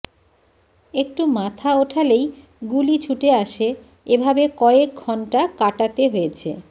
একটু মাথা ওঠালেই গুলি ছুটে আসে এভাবে কয়েক ঘণ্টা কাটাতে হয়েছে